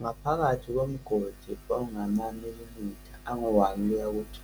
Ngaphakathi komgodi ongamamilimitha angu-1-2,